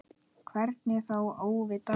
Hvernig þá óvitar?